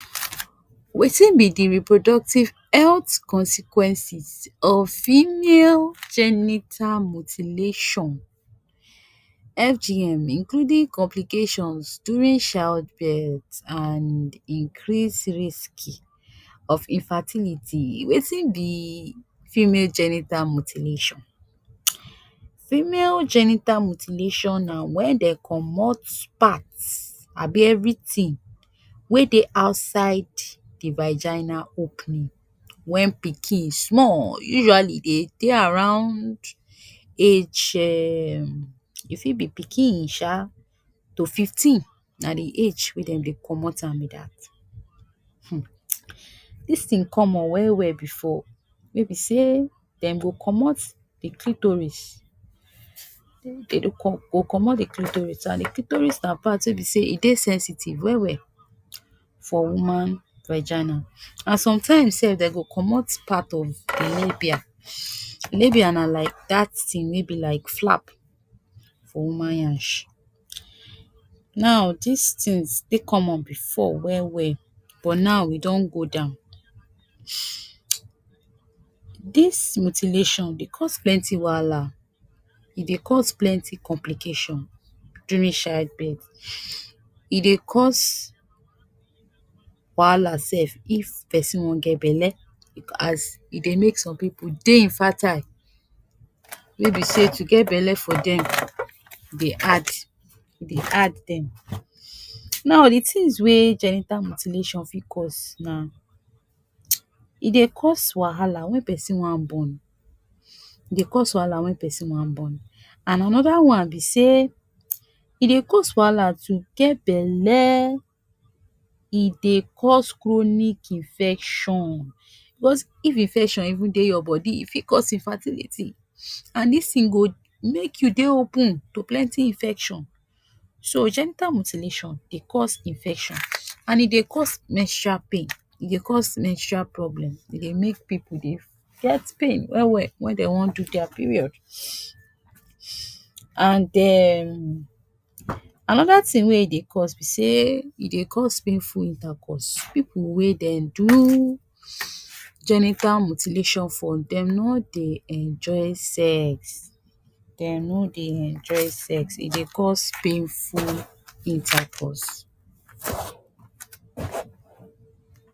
Wetin be de reproductive health consequences of female genital mutilation FGM including complications during child birth and increased risk of infertility? Wetin be female genital mutilation? Female genital mutilation na when dem komot parts abi everything wey dey outside de vagina opening when pikin small. Usually dey dey around around age um e fit be pikin sha to fifteen, na de age wey dem dey komot am be dat. um Dis thing common well well before wey be sey dem go komot de clitoris dey dey go komot de clitoris, and de clitoris na part wey be sey e dey sensitive well well for woman vagina. And some time sef dem go komot part of de labia. Labia na like dat thing wey be like flap for woman yansh. Now dis things dey common before well well, but now e don go down. Dis mutilation dey cause plenty wahala. E dey cause plenty complication during child birth. E dey cause wahala sef if person wan get bele as e dey make some pipu dey infertile, wey be sey to get bele for dem dey hard, dey hard dem. Now, de things wey gender mutilation fit cause na, e dey cause wahala when pesin wan born, e dey cause wahala when pesin wan born. And another one be sey e dey cause wahala to get bele. E dey cause chronic infection. if infection even dey your body e fit cause infertility. And dis thing go make you dey open to plenty infection. So gender mutilation dey cause infection and e dey cause menstrual pain, e dey cause menstrual problem, e dey make pipu dey get pain well well when dem wan do dia period. And um another thing wey e dey cause be say e dey cause painful intercourse. Pipu wey dem do genital mutilation for, dem no dey enjoy sex. Dem no dey enjoy sex. E dey cause painful intercourse.